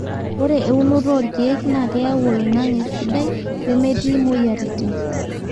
ore eunoto oo ilkiek naa keyau oloingange sidai lemetii moyiaritin